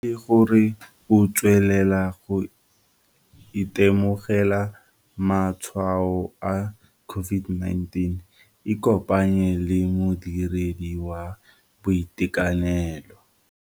Fa e le gore o tswelela go itemogela matshwao a COVID-19 ikopanye le modiredi wa boitekanelo.